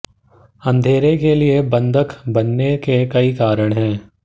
अंधेरे के लिए बंधक बनने के कई कारण हैं